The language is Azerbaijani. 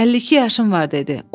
“52 yaşım var,” dedi.